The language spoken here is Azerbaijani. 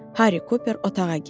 Harry Cooper otağa girdi.